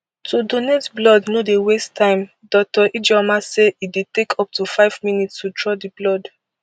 to donate blood no dey waste time dr ijeoma say e dey take up to five minutes to draw di blood